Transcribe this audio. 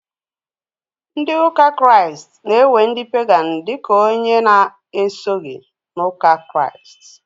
Ndị ụka Kraịst na- ewe ndị " pagan" dika ónyé na- esoghi n' ụka Kraịst.